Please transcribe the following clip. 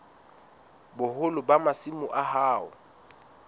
boholo ba masimo a hao